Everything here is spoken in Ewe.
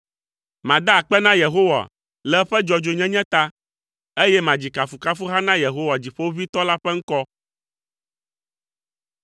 Mada akpe na Yehowa le eƒe dzɔdzɔenyenye ta, eye madzi kafukafuha na Yehowa Dziƒoʋĩtɔ la ƒe ŋkɔ.